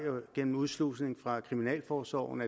gennem udslusning fra kriminalforsorgen